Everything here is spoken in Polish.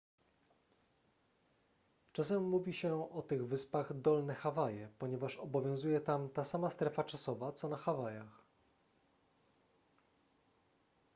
czasem mówi się o tych wyspach dolne hawaje ponieważ obowiązuje tam ta sama strefa czasowa co na hawajach